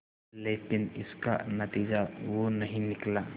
लेकिन इसका नतीजा वो नहीं निकला